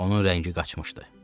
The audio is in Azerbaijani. Onun rəngi qaçmışdı.